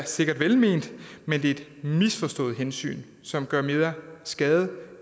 sikkert velment men det er et misforstået hensyn som gør mere skade